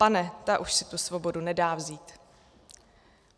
Pane, ta už si tu svobodu nedá vzít."